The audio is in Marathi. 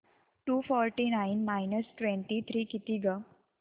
to forty nine minus twenty three किती गं